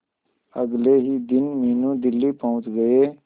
अगले ही दिन मीनू दिल्ली पहुंच गए